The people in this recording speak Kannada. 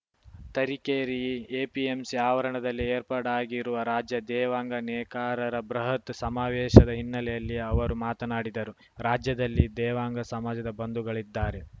ತರೀಕೆರೆ ಎಪಿಎಂಸಿ ಆವರಣದಲ್ಲಿ ಏರ್ಪಾಡಾಗಿರುವ ರಾಜ್ಯ ದೇವಾಂಗ ನೇಕಾರರ ಬೃಹತ್‌ ಸಮಾವೇಶದ ಹಿನ್ನೆಲೆಯಲ್ಲಿ ಅವರು ಮಾತನಾಡಿದರು ರಾಜ್ಯದಲ್ಲಿ ದೇವಾಂಗ ಸಮಾಜದ ಬಂಧುಗಳಿದ್ದಾರೆ